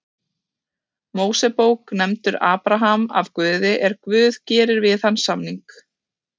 Mósebók nefndur Abraham af Guði er Guð gerir við hann samning: